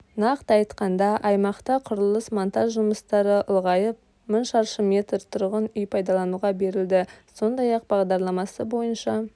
нақты айтқанда аймақта құрылыс-монтаж жұмыстары ұлғайып мың шаршы метр тұрғын үй пайдалануға берілді сондай-ақ бағдарламасы бойынша